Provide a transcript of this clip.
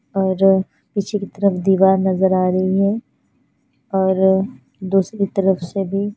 और पीछे की तरफ दीवार नज़र आ रही है और दूसरी तरफ से भी--